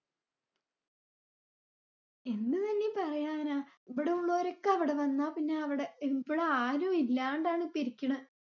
എന്ത് ഞാനീ പറയാനാ! ഇബടെ ഉളോരൊക്കെ അവിടെ വന്ന പിന്നെ അവിടെ ആരുമില്ലാണ്ടാണ് ഇപ്പൊ ഇരിക്കണെ.